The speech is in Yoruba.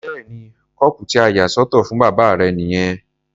Bẹ́ẹ̀ni, kọ́ọ̀pù tí a yà sọ́tọ̀ fún bàbá rẹ nìyẹn, ó ń fọ̀ ọ́.